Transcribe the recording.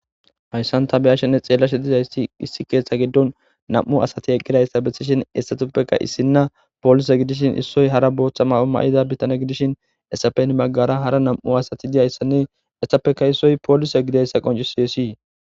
Hayissann ta be'ishshenni xeelashshe dizayiss issi keththa giddonni nam''u asati eqidayiss besishshinn hessatuppekka issina polisse gidishshinn isoyi hara boththa mayo mayida botanne gidishshin hessappe heni bagara hara nam''u asati de'izayissanne etappekka issoyi polise gidoyissa qonccisses.